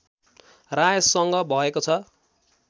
रायसँग भएको छ